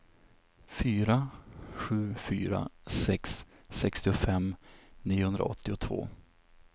fyra sju fyra sex sextiofem niohundraåttiotvå